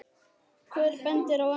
Hver bendir á annan.